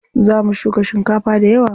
Za mu shuka shinkafa dayawa.